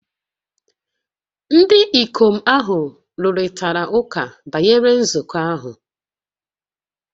Ndị ikom ahụ rụrịtara ụka banyere nzukọ ahụ